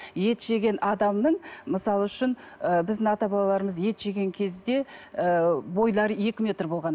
ет жеген адамның мысал үшін ы біздің ата бабаларымыз ет жеген кезде ы бойлары екі метр болған